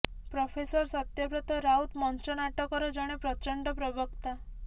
professor Satyabrata Rout ମଞ୍ଚ ନାଟକର ଜଣେ ପ୍ରଚଣ୍ଡ ପ୍ରବକ୍ତା